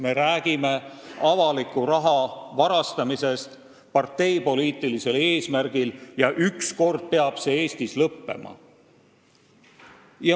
Me räägime avaliku raha varastamisest parteipoliitilisel eesmärgil, mis peab ükskord Eestis lõppema.